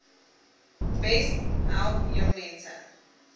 besp help jongmense